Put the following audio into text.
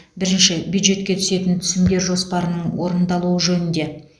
бірінші бюджетке түсетін түсімдер жоспарының орындалуы жөнінде